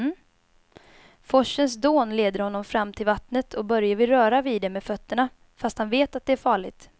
Forsens dån leder honom fram till vattnet och Börje vill röra vid det med fötterna, fast han vet att det är farligt.